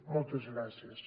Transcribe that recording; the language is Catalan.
moltes gràcies